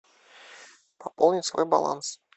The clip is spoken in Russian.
пополнить свой баланс